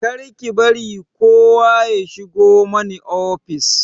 Kar ki bari kowa ya shigo mani ofis!